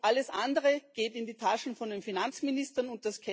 Alles andere geht in die Taschen von den Finanzministern.